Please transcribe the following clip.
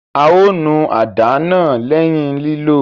A o nù àdá náà lẹhin lilo